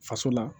Faso la